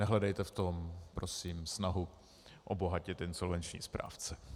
Nehledejte v tom prosím snahu obohatit insolvenční správce.